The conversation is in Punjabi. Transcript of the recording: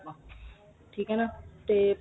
ਠੀਕ ਏ ਨਾ ਤੇ